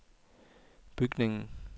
bygningen